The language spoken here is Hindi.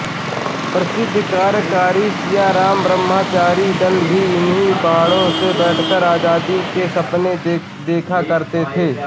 प्रसिद्द क्रन्तिकारी सियारामब्रह्मचारी दल भी इन्हीं पहाड़ों में बैठकर आजादी के सपने देखा करते थे